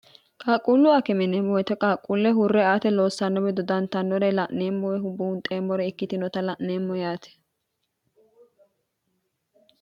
qaaqquullu akimineemmowoyite qaaqquulle hurre ate loossanno wido dantannore la'neemmoe hubuunxeemmore ikkitinota la'neemmo yaati